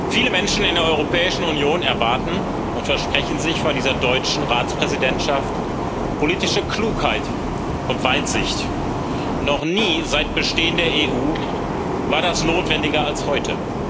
Viele Menschen in der Europäischen Union erwarten und versprechen sich von dieser deutschen Ratspräsidentschaft politische Klugheit und Weitsicht. Noch nie seit Bestehen der EU war das notwendiger als heute.